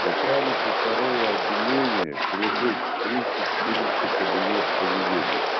начальнику второго отделения прибыть в триста четырнадцатый кабинет в понедельник